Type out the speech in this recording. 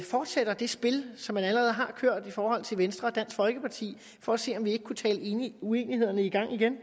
forsætter det spil som man allerede har kørt i forhold til venstre og dansk folkeparti for at se om vi ikke kunne tale uenighederne i gang igen